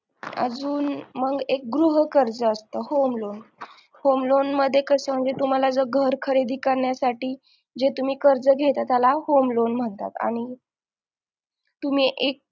अजून मग एक गृहकर्ज असत home loan home loan मध्ये कसं म्हणजे तुम्हाला जर घर खरेदी करण्यासाठी जे तुम्ही कर्ज घेतला तर त्याला home loan म्हणतात आणि तुम्ही एक